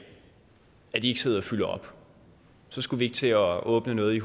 at de ikke sidder og fylder op så skulle vi ikke til at åbne noget i